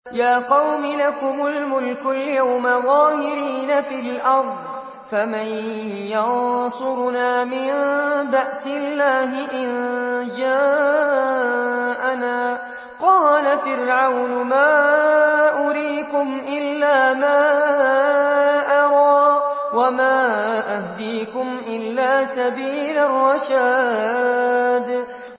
يَا قَوْمِ لَكُمُ الْمُلْكُ الْيَوْمَ ظَاهِرِينَ فِي الْأَرْضِ فَمَن يَنصُرُنَا مِن بَأْسِ اللَّهِ إِن جَاءَنَا ۚ قَالَ فِرْعَوْنُ مَا أُرِيكُمْ إِلَّا مَا أَرَىٰ وَمَا أَهْدِيكُمْ إِلَّا سَبِيلَ الرَّشَادِ